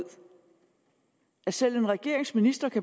så